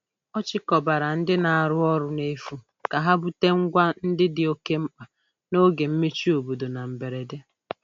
Ọ chịkọbara ndị na-arụ ọrụ n'efu ka ha bute ngwa ndị dị oke mkpa n'oge mmechi obodo na mberede.